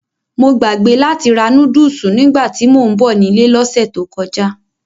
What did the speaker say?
Mo gbàgbé láti ra núdùsù nígbàtí mò ń bọ̀ nílé lọ́sẹ̀ tó kọjá.